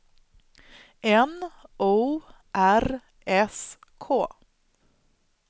N O R S K